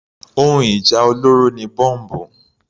Ohun ìjà olóró ni Bọ́mbù.